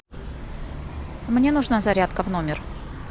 мне нужна зарядка в номер